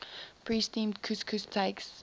pre steamed couscous takes